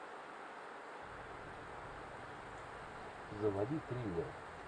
заводи триллер